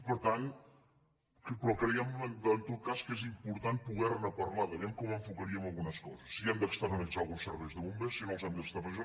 però creiem en tot cas que és important poder parlar de vejam com enfocaríem algunes coses si hem d’externalitzar alguns serveis de bombers si no els hem d’externalitzar